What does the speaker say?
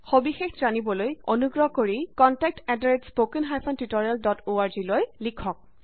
সবিশেষ জানিবলৈ অনুগ্ৰহ কৰি contact at spoken hyphen tutorial dot org লৈ লিখক